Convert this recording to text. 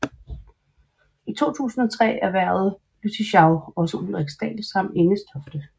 I 2003 erhvervede Lüttichau også Ulriksdal samt Engestofte